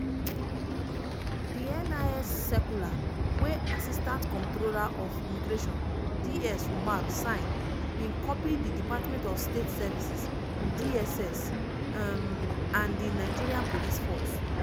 di nis circular wey assistant comptroller of immigration ds umar sign bin copy di department of state services (dss) um and di nigeria police force.